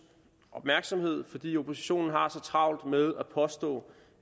opmærksomhed fordi oppositionen har så travlt med at påstå